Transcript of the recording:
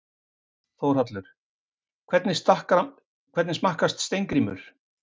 Þórhallur: Hvernig smakkast Steingrímur?